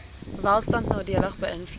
welstand nadelig beïnvloed